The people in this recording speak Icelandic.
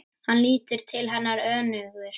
Hann lítur til hennar önugur.